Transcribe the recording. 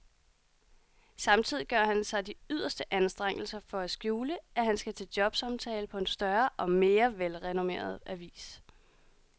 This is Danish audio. Samtidig gør han sig de yderste anstrengelser for at skjule, at han skal til jobsamtale på en større og mere velrenommeret avis.